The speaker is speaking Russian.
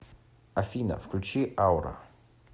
афина включи аура